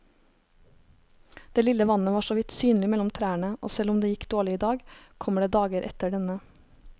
Det lille vannet var såvidt synlig mellom trærne, og selv om det gikk dårlig i dag, kommer det dager etter denne.